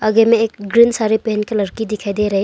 आगे में एक ग्रीन साड़ी पहन के लड़की दिखाई दे रही--